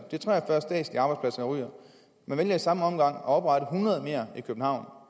ryger og man vælger i samme omgang at oprette hundrede mere i københavn